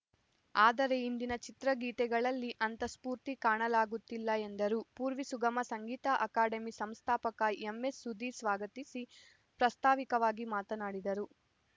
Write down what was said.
ಆದರೆ ಇಂದಿನ ಚಿತ್ರಗೀತೆಗಳಲ್ಲಿ ಅಂಥ ಸ್ಫೂರ್ತಿ ಕಾಣಲಾಗುತ್ತಿಲ್ಲ ಎಂದರು ಪೂರ್ವಿ ಸುಗಮ ಸಂಗೀತ ಅಕಾಡೆಮಿ ಸಂಸ್ಥಾಪಕ ಎಂಎಸ್‌ ಸುಧೀರ್‌ ಸ್ವಾಗತಿಸಿ ಪ್ರಾಸ್ತಾವಿಕವಾಗಿ ಮಾತನಾಡಿದರು